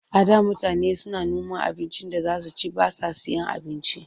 A da mutane suna noma abincin da suke ci ba sa sayen abinci.